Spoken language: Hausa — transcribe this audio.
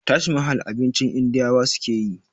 Taj mahal abincin indiyawa sukeyi